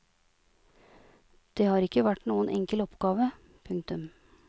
Det har ikke vært noen enkel oppgave. punktum